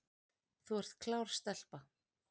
Þú ert klár stelpa